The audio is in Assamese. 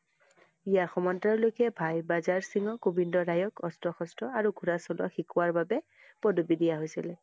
ইয়াৰ সমান্তৰালকৈ ভাই বাজাৰ সিংহক গোবিন্দ ৰায়ক অস্ত্ৰ হস্ত্ৰ আৰু ঘোঁৰা চলোৱাৰ শিকোৱাৰ বাবে পদব্বি দিয়া হৈছিল।